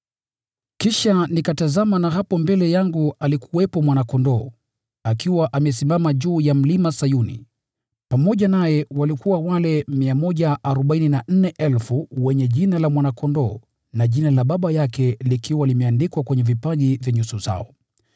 Kisha nikatazama na hapo mbele yangu alikuwepo Mwana-Kondoo, akiwa amesimama juu ya Mlima Sayuni. Pamoja naye walikuwa wale 144,000 wenye Jina la Mwana-Kondoo na Jina la Baba yake likiwa limeandikwa kwenye vipaji vya nyuso zao.